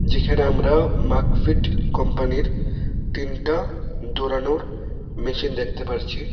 এখানে আমরা মাকফিট কম্পানির তিনটা ডৌড়ানোর মেশিন দেখতে পারছি।